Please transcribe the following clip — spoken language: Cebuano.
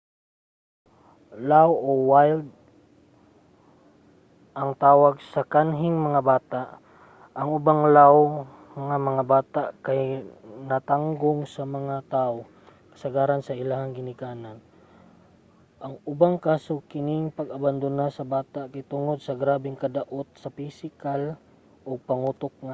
"laaw o wild ang tawag sa kanhing mga bata. ang ubang laaw nga mga bata kay natanggong sa mga tao kasagaran sa ilahang ginikanan; sa ubang kaso kining pag-abandona sa bata kay tungod sa grabeng kadaot sa pisikal ug pangutok nga aspeto